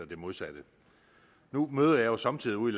det modsatte nu møder jeg jo somme tider ude